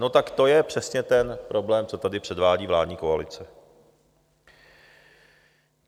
No tak to je přesně ten problém, co tady předvádí vládní koalice.